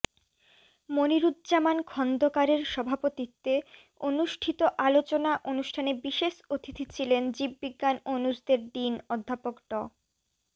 মনিরুজ্জামান খন্দকারের সভাপতিত্বে অনুষ্ঠিত আলোচনা অনুষ্ঠানে বিশেষ অতিথি ছিলেন জীববিজ্ঞান অনুষদের ডিন অধ্যাপক ড